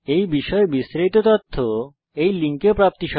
এই বিষয়ে বিস্তারিত তথ্য এই লিঙ্কে প্রাপ্তিসাধ্য